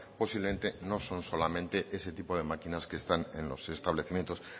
posiblemente no son solamente ese tipo de máquinas que están en los establecimientos